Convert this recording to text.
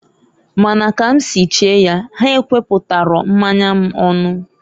Ma na ka m si chee ya, ha ekweputaro mmanya m onu.